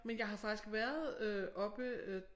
Men jeg har faktisk været øh oppe øh